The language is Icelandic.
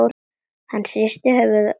Hann hristi höfuðið og glotti.